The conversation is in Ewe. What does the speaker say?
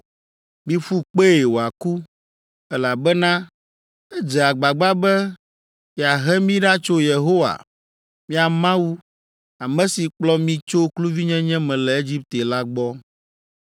Miƒu kpee wòaku, elabena edze agbagba be yeahe mi ɖa tso Yehowa, mia Mawu, ame si kplɔ mi tso kluvinyenye me le Egipte la gbɔ.